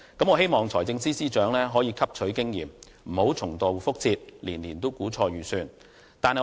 我希望財政司司長能夠汲取經驗，不要重蹈覆轍，年年估錯盈餘。